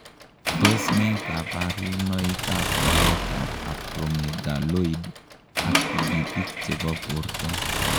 Tos ne kabarunoik ab walet ab Acromegaloid ak tigitik chepo porto